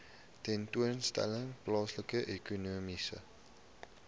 tentoonstelling plaasvind ekonomiese